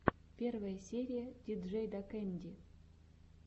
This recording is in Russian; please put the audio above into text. первая серия диджейдакэнди